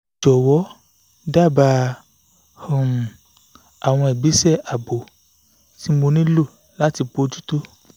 jọ̀wọ́ dábàá um àwọn ìgbésẹ̀ ààbò tí mo nílò láti bójú tó